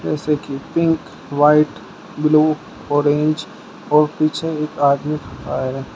इसमें देखिए pink white blue orange और पीछे एक आदमी खड़ा है।